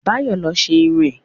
Báyọ̀ lo ṣe irun ẹ̀